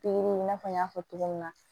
Pikiri in i n'a fɔ n y'a fɔ cogo min na